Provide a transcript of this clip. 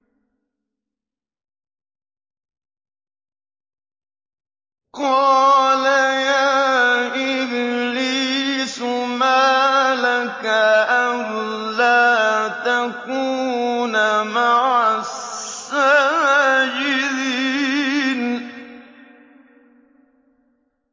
قَالَ يَا إِبْلِيسُ مَا لَكَ أَلَّا تَكُونَ مَعَ السَّاجِدِينَ